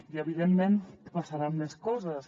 i evidentment passaran més coses